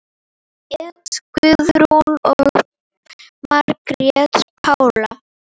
Edda Guðrún og Margrét Pála.